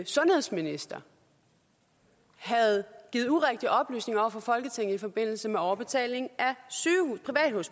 sundhedsminister havde givet urigtige oplysninger til folketinget i forbindelse med overbetaling